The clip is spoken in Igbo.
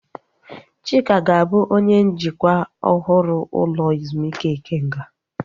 Chika ga-abụ onye njikwa ọhụrụ ụlọ ezumike Ikenga